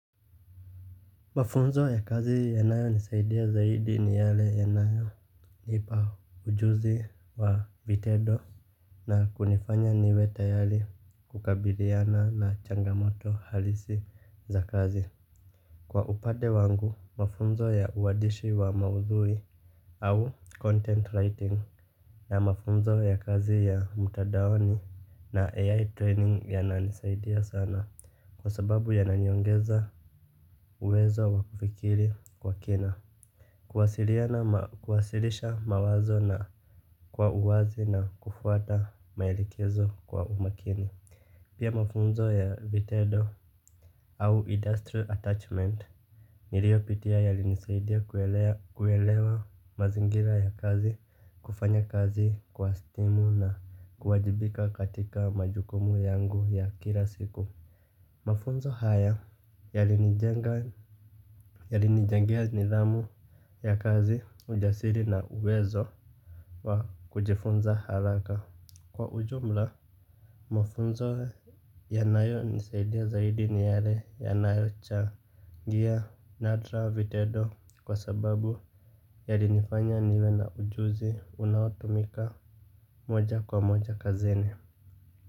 Mafunzo ya kazi yanayo nisaidia zaidi ni yale yanayo nipa ujuzi wa vitendo na kunifanya niwe tayari kukabiliana na changamoto halisi za kazi. Kwa upande wangu mafunzo ya uandishi wa maudhui au content writing na mafunzo ya kazi ya mtadaoni na AI training yananisaidia sana kwa sababu yananiongeza uwezo wa kufikiri kwa kina. Kuwasilisha mawazo na kwa uwazi na kufuata maelekezo kwa umakini. Pia mafunzo ya vitendo au industrial attachment nilio pitia yalinisaidia kuelewa mazingira ya kazi, kufanya kazi kwa timu na kuwajibika katika majukumu yangu ya kila siku. Mafunzo haya yalinijenga. Yalinijengea nidhamu ya kazi ujasiri na uwezo wa kujifunza haraka. Kwa ujumla mafunzo yanayo nisaidia zaidi ni yale yanayo cha ngia nadra vitendo kwa sababu yalinifanya niwe na ujuzi unaotumika moja kwa moja kazini.